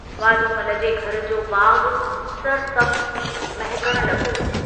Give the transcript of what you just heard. वाधूमल जे घर जो बागु सरसब्ज़ थी महकण लगो।